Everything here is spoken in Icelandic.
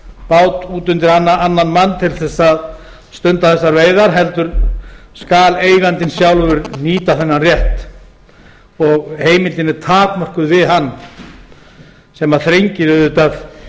bát út undir annan mann til þess að stunda þessar veiðar heldur skal eigandinn sjálfur nýta þennan rétt og heimildin er takmörkuð við hann sem þrengir auðvitað